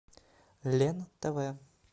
лен тв